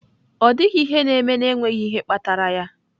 Ọ dịghị ihe na-eme n'enweghị ihe kpatara ya.